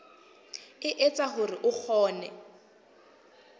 e etsa hore o kgone